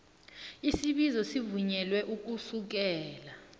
isibizo sivunyelwe ukusukela